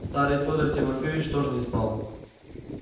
старый фёдор тимофеич тоже не спал